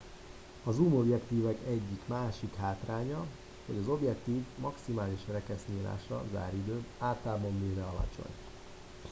a zoom objektívek egyik másik hátránya hogy az objektívek maximális rekesznyílása záridő általában véve alacsony